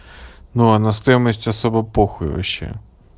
ну а на стоимость особо похуй вообще